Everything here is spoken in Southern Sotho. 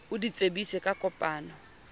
o di tsebise ka kopano